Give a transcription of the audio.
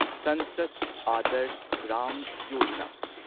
ꯁꯟꯁꯗ ꯑꯥꯗꯔꯁ ꯒ꯭ꯔꯥꯝ ꯌꯣꯖꯥꯅꯥ